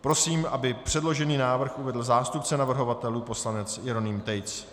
Prosím, aby předložený návrh uvedl zástupce navrhovatelů poslanec Jeroným Tejc.